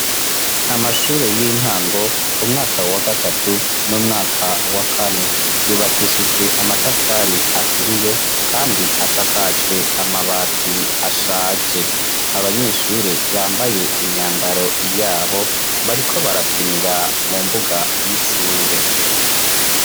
Amashure y'intango umwaka wa gatatu n'umwaka wa kane yubakishijwe amatafari aturiye kandi asakajwe amabati ashaje abanyeshure bambaye imyambaro yabo bariko barakinira mu mbuga y'ishure.